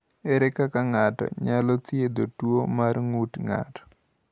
Ere kaka ng’ato nyalo thiedho tuwo mar ng’ut ng’ato?